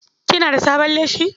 Kina da sabon leshi?